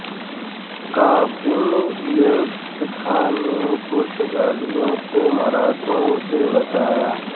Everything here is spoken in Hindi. क़ासिम याकुत खान ने पुर्तगालीयो को मराठों से बचाया